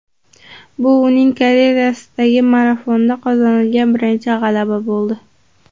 Bu uning karyerasidagi marafonda qozonilgan birinchi g‘alaba bo‘ldi.